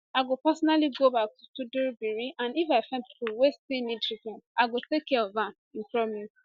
i go personally go back to tudunbiri and if i find pipo wey still need treatment i go take care of am im promise